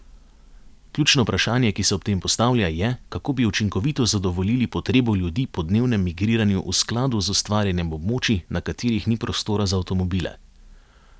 Ključno vprašanje, ki se ob tem postavlja, je, kako bi učinkovito zadovoljili potrebo ljudi po dnevnem migriranju v skladu z ustvarjanjem območij, na katerih ni prostora za avtomobile.